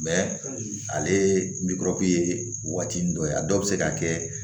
ale bikɔrɔku ye waati nin dɔ a dɔw be se ka kɛ